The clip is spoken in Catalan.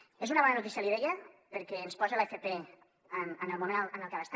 és una bona notícia li deia perquè ens posa l’fp en el moment en el que ha d’estar